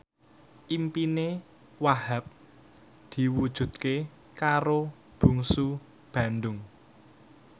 impine Wahhab diwujudke karo Bungsu Bandung